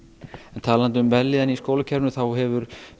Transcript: en talandi um velíðun í skólakerfinu þá hefur